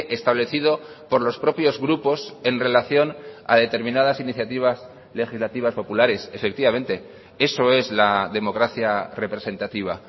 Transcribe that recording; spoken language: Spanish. establecido por los propios grupos en relación a determinadas iniciativas legislativas populares efectivamente eso es la democracia representativa